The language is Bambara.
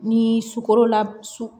Ni sukorola su